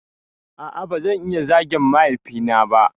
A'a bazan iya zagin mahaifi na ba